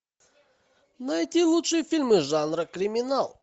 найти лучшие фильмы жанра криминал